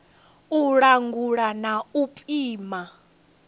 u langula na u pima